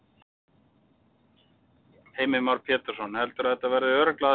Heimir Már Pétursson: Heldurðu að þetta verði örugglega að stjórn?